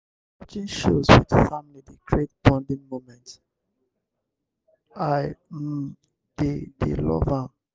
watching shows with family dey create bonding moments; i um dey dey love am.